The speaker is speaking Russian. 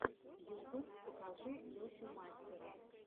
ютуб покажи лешу мастера